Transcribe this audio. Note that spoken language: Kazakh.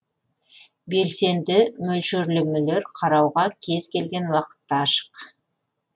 белсенді мөлшерлемелер қарауға кез келген уақытта ашық